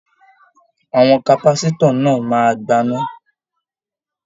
Àwọn kapasitọ náà máa gbana.